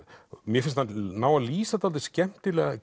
mér finnst hann ná að lýsa dálítið skemmtilega